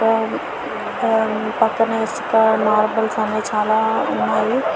ఆ ఆ పక్కనే ఇసుక మార్బల్ చానా ఉన్నాయి.